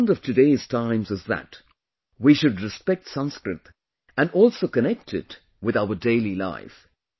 The demand of today’s times is that we should respect Sanskrit and also connect it with our daily life